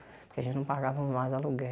Porque a gente não pagava mais